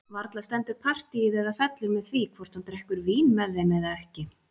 Varla stendur partíið eða fellur með því hvort hann drekkur vín með þeim eða ekki!